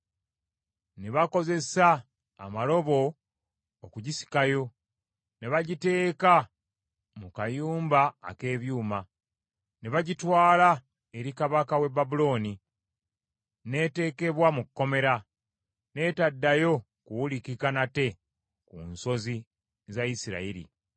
Ne bakozesa amalobo okugisikayo, ne bagiteeka mu kayumba ak’ebyuma, ne bagitwala eri kabaka w’e Babulooni; n’eteekebwa mu kkomera, n’etaddayo kuwulikika nate ku nsozi za Isirayiri.